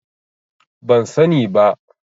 Ban sani ba.